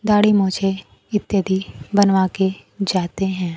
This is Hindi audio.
दाढ़ी मूंछें इत्यादि बनवा के जाते हैं।